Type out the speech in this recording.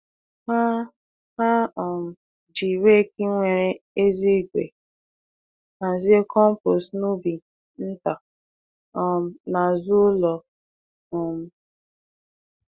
Ha Ha um ji rake nwere ezé ígwè hazie compost n’ubi nta um n’azụ ụlọ. um